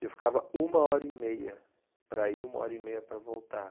E eu ficava uma hora e meia para ir, uma hora e meia para voltar.